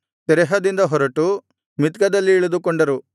ತೆರಹದಿಂದ ಹೊರಟು ಮಿತ್ಕದಲ್ಲಿ ಇಳಿದುಕೊಂಡರು